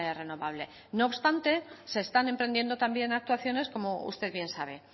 renovable no obstante se están emprendiendo también actuaciones como usted bien sabe